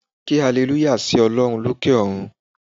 Ké alleluya sí Olórun lókè òrun